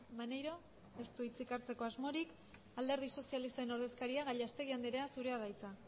maneiro ez du hitzik hartzeko asmorik alderdi sozialisten ordezkaria gallastegui andrea zurea da hitza